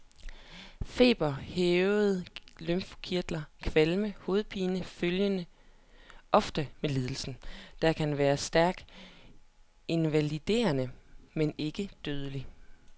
Feber, hævede lymfekirtler, kvalme og hovedpine følger ofte med lidelsen, der kan være stærkt invaliderende men ikke dødelig.